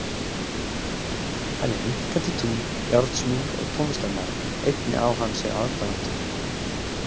Hann er minnkandi tungl, járnsmiður og tónlistarmaður, einnig hann á sér aðdáendur.